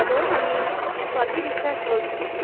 Hello আমি স্বাতী বিশ্বাস বলছি।